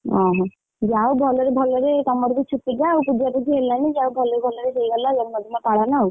ଓହୋ ଯାହାହଉ ଭଲରେ ଭଲରେ ତମର ବି ଛୁତିକିୟା ପୂଜାପୁଜୀ ହେଲାନି ଯାହା ହଉ ଭଲରେ ଭଲରେ ହେଇଗଲା ଜନ୍ମଦିନ ପାଳନ ଆଉ।